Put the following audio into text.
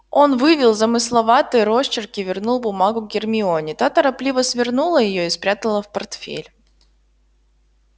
он вывел замысловатый росчерк и вернул бумагу гермионе та торопливо свернула её и спрятала в портфель